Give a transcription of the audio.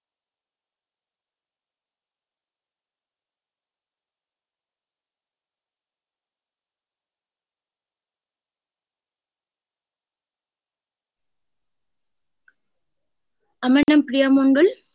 আমার নাম প্রিয়া মণ্ডল।